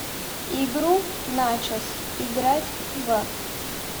игру начос играть в